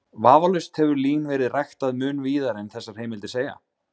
Vafalaust hefur lín verið ræktað mun víðar en þessar heimildir segja.